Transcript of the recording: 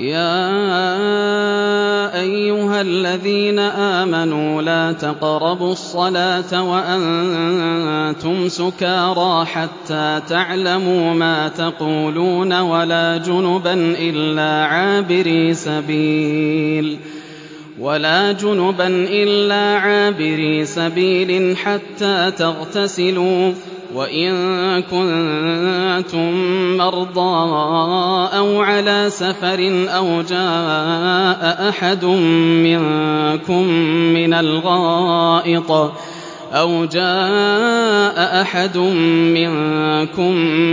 يَا أَيُّهَا الَّذِينَ آمَنُوا لَا تَقْرَبُوا الصَّلَاةَ وَأَنتُمْ سُكَارَىٰ حَتَّىٰ تَعْلَمُوا مَا تَقُولُونَ وَلَا جُنُبًا إِلَّا عَابِرِي سَبِيلٍ حَتَّىٰ تَغْتَسِلُوا ۚ وَإِن كُنتُم مَّرْضَىٰ أَوْ عَلَىٰ سَفَرٍ أَوْ جَاءَ أَحَدٌ مِّنكُم